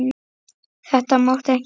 Þetta mátti ekki gerast!